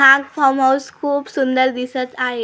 हा फार्महाऊस खूप सुंदर दिसत आहे.